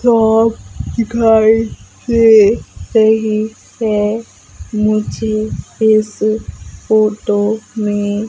तोफ घर वे यही पे मुझे इस फोटो में --